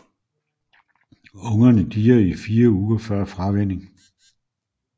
Ungerne dier i fire uger før fravænning